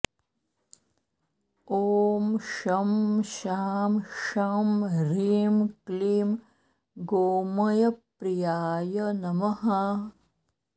ॐ शं शां षं ह्रीं क्लीं गोमयप्रियाय नमः